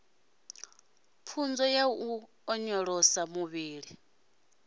pfunzo ya u onyolosa muvhili